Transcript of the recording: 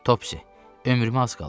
Topsi, ömrümə az qalıb.